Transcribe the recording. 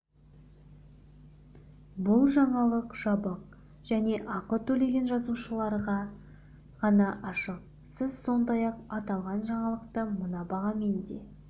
бұл жаңалық жабық және ақы төлеген жазылушыларға ғана ашық сіз сондай-ақ аталған жаңалықты мына бағамен де